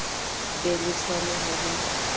be le tshwano ha ho